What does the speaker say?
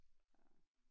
Ja